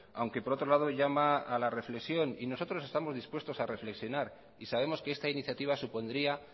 aunque por otro lado llama a la reflexión y nosotros estamos dispuestos a reflexionar y sabemos que esta iniciativa supondría